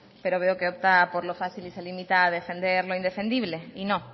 pero veo que opta por lo fácil y se limita a defender lo indefendible y no